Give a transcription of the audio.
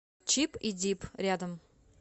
чип и дип рядом